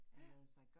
Ja